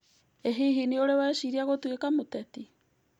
ĩ hihi we nĩũrĩ weciria gũtuĩka mũteti?